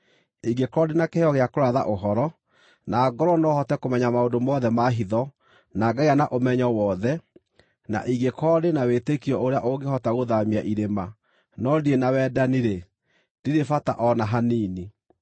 Ingĩkorwo ndĩ na kĩheo gĩa kũratha ũhoro, na ngorwo no hote kũmenya maũndũ mothe ma hitho na ngagĩa na ũmenyo wothe, na ingĩkorwo ndĩ na wĩtĩkio ũrĩa ũngĩhota gũthaamia irĩma, no ndirĩ na wendani-rĩ, ndirĩ bata o na hanini.